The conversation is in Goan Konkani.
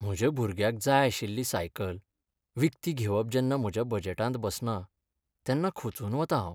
म्हज्या भुरग्याक जाय आशिल्ली सायकल विकती घेवप जेन्ना म्हज्या बजेटांत बसना तेन्ना खचून वतां हांव.